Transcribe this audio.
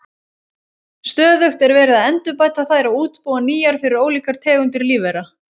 Stöðugt er verið að endurbæta þær og útbúa nýjar fyrir ólíkar tegundir lífvera.